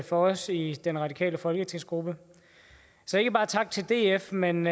for os i den radikale folketingsgruppe så ikke bare tak til df men